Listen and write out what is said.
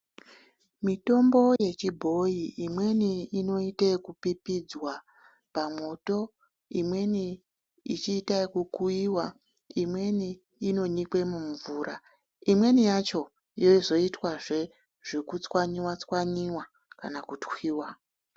Mitombo yechibhoyi imweni inoita ekupipidzwa pamwoto imweni ichiita ekukuiwa imweni inonyikwa mumvura imweni yacho inozoitwa zve zvekutswanyiwa tswanyiwa kana kutwiwa.